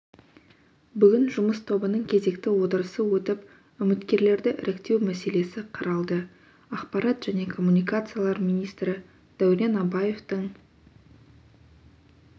бүгін жұмыс тобының кезекті отырысы өтіп үміткерлерді іріктеу мәселесі қаралды ақпарат және коммуникациялар министрі дәурен абаевтың